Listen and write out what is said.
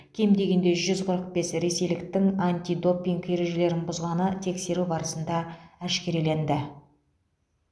кем дегенде жүз қырық бес ресейліктің антидопинг ережелерін бұзғаны тексеру барысында әшкереленді